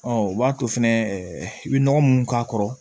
Ɔ o b'a to fɛnɛ i bɛ nɔgɔ munnu k'a kɔrɔ